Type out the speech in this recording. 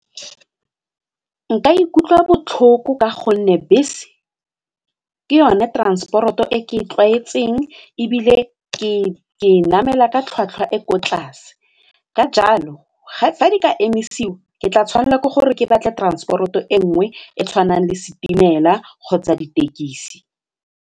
Nka ikutlwa botlhoko ka gonne bese ke yone transport-o e ke e tlwaetseng ebile ke e namela ka tlhwatlhwa e ko tlase ka jalo fa di ka emisiwa ke tla tshwanela ke gore ke batle transport-o e nngwe e tshwanang le setimela kgotsa ditekisi.